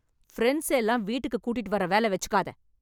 friends எல்லாம் வீட்டுக்கு கூட்டிட்டு வர வேல வச்சுக்காத